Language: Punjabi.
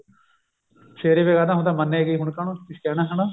ਸਵੇਰੇ ਫਿਰ ਕਹਿੰਦਾ ਹੁੰਦਾ ਵੀ ਹੁਣ ਮੰਨ ਏ ਗਈ ਕਾਹਨੂੰ ਕੁੱਝ ਕਹਿਣਾ ਹਣਾ